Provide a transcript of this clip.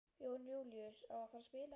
Jón Júlíus: Á að fara að spila í kvöld?